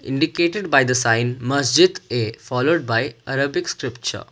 indicated by the sign masjid a followed by arabic scripture.